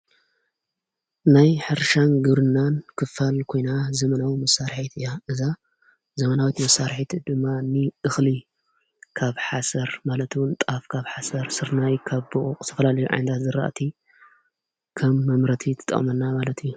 ናይ ሕርሻን ግርናን ክፋል ኮይና ፤ዘመናዊት መሣርሒት እያ። እዛ ዘመናዊት መሣርሒት ድማኒ እኽሊ ካብ ሓሰር ማለቱውን ጣፍ ካብ ሓሰር ሥርናይ ካብ ቦኦቕ ተፈላልዮ ኣይንዳ ዝረእቲ ከም መምህረቲ ትጣቅመና እያ።